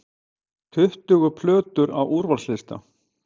Tuttugu plötur á úrvalslista